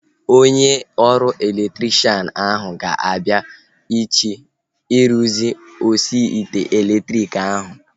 Onye ọrụ elektrikshan ahu ga-abịa echi ịrụzi osi ite elektriki ahu